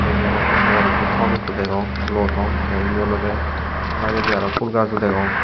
ibey oley ikko bor ikko thom ikko degong luo thom tey indi olodey dagedi aro fhul gajo degong.